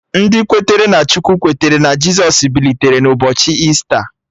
Ndị kwere na Chukwu kwetere na Jisọs bilitere n'ụbọchị Ista